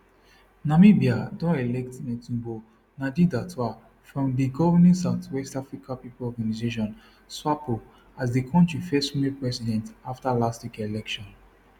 namibia don elect netumbo nandindaitwah from di governing south west africa pipo organisation swapo as di kontri first female president afta last week election